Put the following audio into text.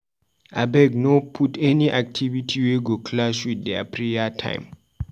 Abeg no put any activity wey go clash with their prayer time.